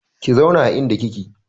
Ki zauna a inda kike!